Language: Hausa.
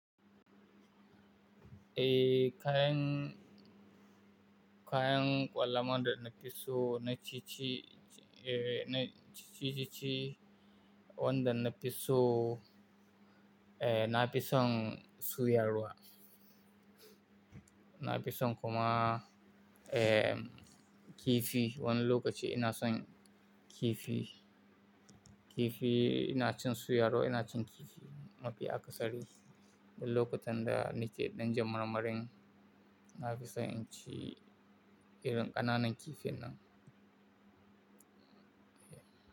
Eh kaing, kayan kwala ma da na fiso na fii ci, eh na ficci wanda na piso. Na fison soyawa. Na fi san kuma, kifi wani okaci ina son kifi. Kifi ina cin suya ruwa ina cin kifi, mafi akasari. Akwai lokutan da nike dan jin marmarin, na fi son in cin irin ƙananan kifin nan.